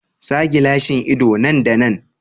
Sa gilashin ido nan da nan.